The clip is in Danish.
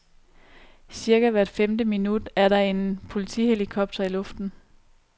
Cirka hvert femte minut er der en politihelikopter i luften.